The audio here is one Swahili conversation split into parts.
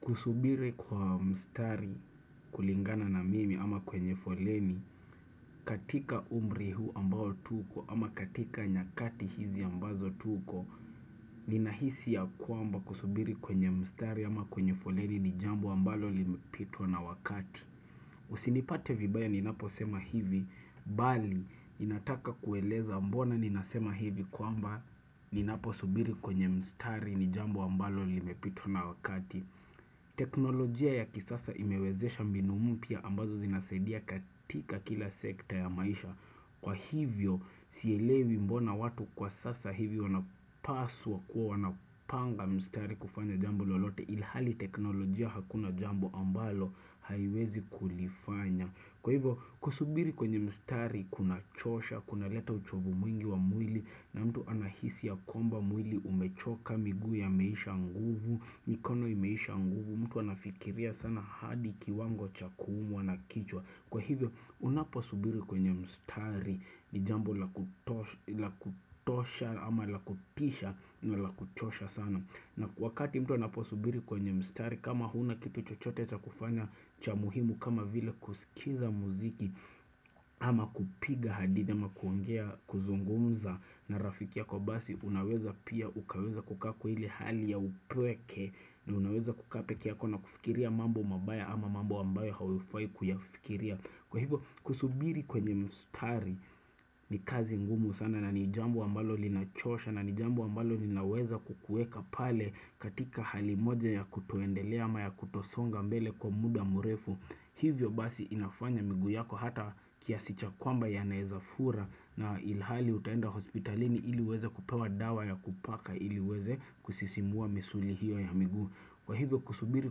Kusubiri kwa mstari kulingana na mimi ama kwenye foleni, katika umri huu ambao tuko ama katika nyakati hizi ambazo tuko, ninahisi ya kuamba kusubiri kwenye mstari ama kwenye foleni ni jambo ambalo limepitwa na wakati. Usinipate vibaya ninapo sema hivi, bali, ninataka kueleza mbona ninasema hivi kwamba ninapo subiri kwenye mstari ni jambo ambalo limepitwa na wakati. Teknolojia ya kisasa imewezesha mbinu mpya ambazo zinasaidia katika kila sekta ya maisha Kwa hivyo sielewi mbona watu kwa sasa hivyo wanapaswa kuwa wanapanga mstari kufanya jambo lolote ilhali teknolojia hakuna jambo ambalo haiwezi kulifanya Kwa hivyo kusubiri kwenye mstari kuna chosha, kuna leta uchovu mwingi wa mwili na mtu anahisi ya kwamba mwili umechoka miguu yameisha nguvu mikono imeisha nguvu mtu anafikiria sana hadi kiwango cha kuumwa wanakichwa, kwa hivyo unaposubiri kwenye mstari Nijambo la kutosha ama la kutisha na la kuchosha sana na wakati mtu anaposubiri kwenye mstari kama huna kitu chochote cha kufanya cha muhimu kama vile kusikiza muziki ama kupiga hadithi ama kuongea kuzungumza na rafiki yako basi unaweza pia ukaweza kukaa kwa ilehali ya upweke na unaweza kukaa pekeyako na kufikiria mambo mabaya ama mambo ambayo hauifai kuyafikiria Kwa hivyo kusubiri kwenye mstari ni kazi ngumu sana nani jambo ambalo linachosha nani jambo ambalo ninaweza kukueka pale katika hali moja ya kutoendelea ama ya kutosonga mbele kwa muda mrefu hivyo basi inafanya miguu yako hata kiasi cha kwamba ya naezafura na ilhali utaenda hospitalini iliweze kupewa dawa ya kupaka iliiweze kusisimua misuli hiyo ya miguu. Kwa hivyo kusubiri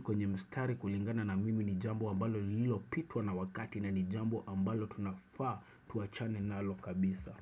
kwenye mstari kulingana na mimi ni jambo ambalo lilo pitwa na wakati na ni jambo ambalo tunafaa tuachane nalo kabisa.